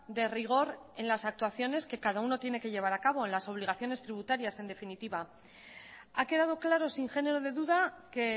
de rigor en las actuaciones que cada uno tiene de llevar a cabo en las obligaciones tributarias en definitiva ha quedado claro sin género de duda que